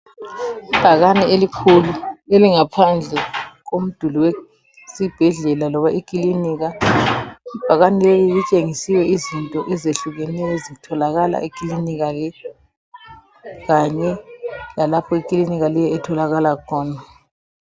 Ibhakane elikhulu elingaphandle komduli wesibhedlela loba ikilinika. Ibhakane lelitshengisile izinto ezehlukeneyo ezitholakala ekilinika le kanye lalapho ikilinika le etholakala khona.